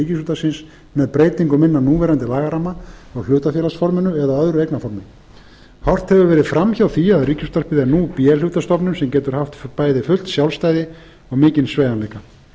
ríkisútvarpsins með breytingum innan núverandi lagaramma og hlutafélagsforminu eða öðru eignarformi horft hefur verið fram hjá því að ríkisútvarpið er nú b hlutastofnun sem getur haft bæði fullt sjálfstæði og mikinn sveigjanleika